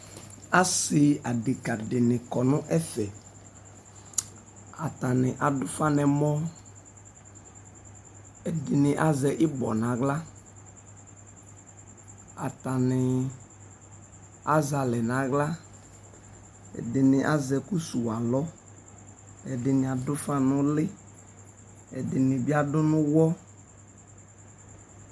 Asɩ adekǝ nɩ kɔ nʋ ɛvɛ Atanɩ adʋfa n'ɛmɔ ; ɛdɩnɩ azɛ ɩbɔ n'aɣla , atanɩ azɛalɛ n'aɣla, ɛdɩnɩ azɛ ɛkʋ suwu alɔ Ɛdɩnɩ adʋfa n'ʋlɩ ɛdɩnɩ bɩ adʋ n'ʋwɔ